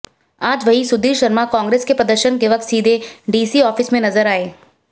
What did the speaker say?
आज वही सुधीर शर्मा कांग्रेस के प्रदर्शन के वक्त सीधे डीसी ऑफिस में नजर आए